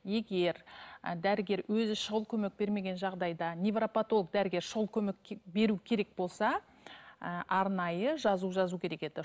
егер і дәрігер өзі шұғыл көмек бермеген жағдайда невропатолог дәрігер шұғыл көмек беру керек болса ы арнайы жазып жазу керек еді